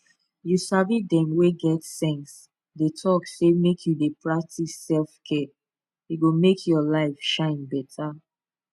you sabi dem wey get sense dey talk say make you dey practice selfcare e go make your life shine better